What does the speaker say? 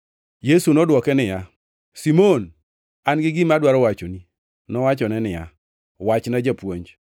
Yesu nodwoke niya, “Simon, an-gi gima adwaro wachoni.” Nowachone niya, “Wachna, japuonj.”